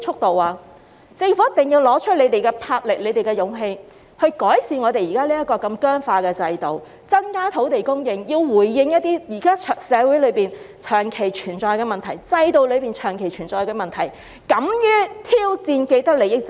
政府一定要拿出魄力和勇氣，改善政府現時這麼僵化的制度，增加土地供應，回應那些在社會、制度裏長期存在的問題，敢於挑戰既得利益者。